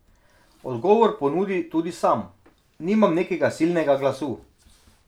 Odgovor ponudi tudi sam: "Nimam nekega silnega glasu.